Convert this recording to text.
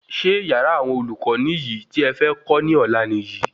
Ṣé yàrá awọn olùkọ niyi ti é fẹ kó ní ọlá Nìyí?